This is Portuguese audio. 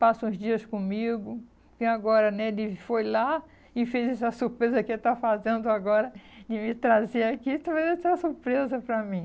passa uns dias comigo, e agora, né, ele foi lá e fez essa surpresa que ele está fazendo agora de me trazer aqui, trouxe essa surpresa para mim.